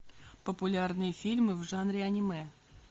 популярные фильмы в жанре аниме